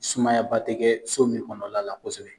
Sumayaba tɛ kɛ so min kɔnɔnala kosɛbɛ.